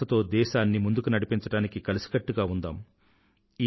మనసుతో దేశాన్ని ముందుకు నడిపించడానికి కలిసికట్టుగా ఉందాం